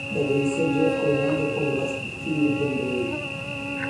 dhageyso jeff koinange podcast kii ugu dambeeyay